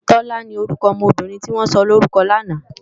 Tola ni órúkò òmò óbìrín tiwòn sòlórúkò làná